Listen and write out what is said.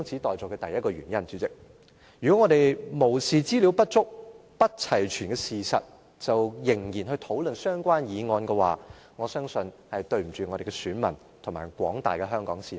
代理主席，如果我們無視資料不足、不齊全的事實，而仍然去討論相關議案。我相信，是對不起我們的選民及廣大的香港市民。